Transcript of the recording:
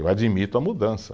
Eu admito a mudança.